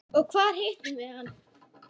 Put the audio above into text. Og hvar hittum við hann?